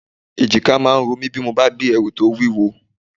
Èjìká máa ń ro mi bí mo bá gbé ẹrù tó wúwo